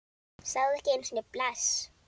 Sagði ekki einu sinni bless.